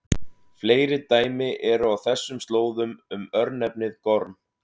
Fleiri dæmi eru á þessum slóðum um örnefnið Gorm.